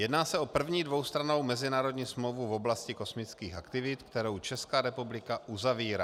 Jedná se o první dvoustrannou mezinárodní smlouvu v oblasti kosmických aktivit, kterou Česká republika uzavírá.